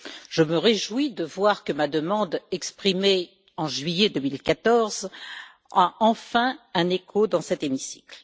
Je me réjouis de voir que ma demande exprimée en juillet 2014 a enfin un écho dans cet hémicycle.